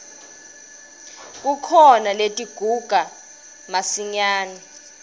kukhona letiguga masinyane